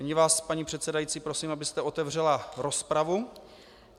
Nyní vás, paní předsedající, prosím, abyste otevřela rozpravu.